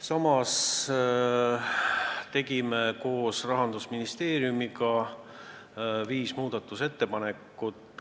Samas tegime koos Rahandusministeeriumiga viis muudatusettepanekut.